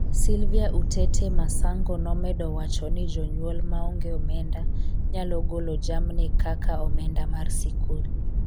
Sylvia Utete Masango nomedo wacho ni jonyuol maonge omenda nyalo golo jamni kaka omenda mar sikul